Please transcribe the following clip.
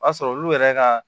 O y'a sɔrɔ olu yɛrɛ ka